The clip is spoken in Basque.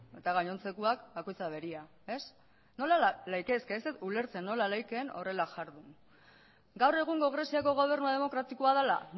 eta gainontzekoak bakoitzak berea ez ez dut ulertzen nola litekeen horrela ihardun gaur egungo greziako gobernua demokratikoa dela